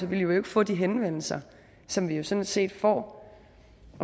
vi jo ikke få de henvendelser som vi sådan set får